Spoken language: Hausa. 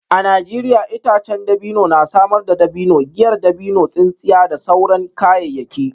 A Najeriya itacen dabino na samar da dabino, giyar dabino, tsintsiya da sauran kayayyaki.